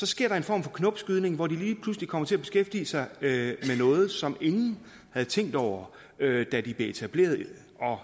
sker en form for knopskydning hvor de lige pludselig kommer til at beskæftige sig med noget som ingen havde tænkt over da da de blev etableret